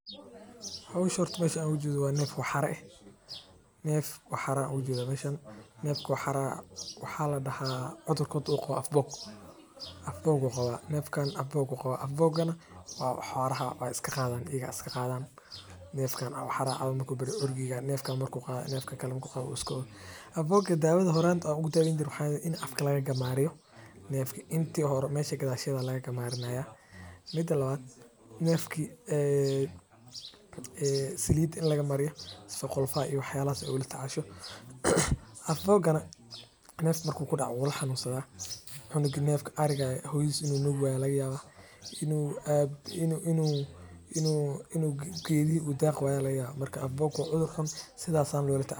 Howshan horta meesha aan ooga jeedo waa neef waxara ah cudurkan waxaa ladahaa af boog waay isku daaranayin in la isticmaalo waxeey kobcisa dalaga ilaa laba jeer waxa laga sameeya xarumaha cafimaadka xolaha ayaa cunaan.